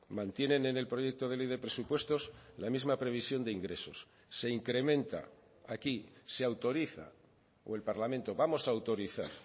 mantienen en el proyecto de ley de presupuestos la misma previsión de ingresos se incrementa aquí se autoriza o el parlamento vamos a autorizar